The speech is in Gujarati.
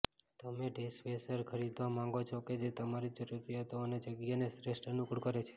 તમે ડૅશવૅશર ખરીદવા માંગો છો કે જે તમારી જરૂરિયાતો અને જગ્યાને શ્રેષ્ઠ અનુકૂળ કરે છે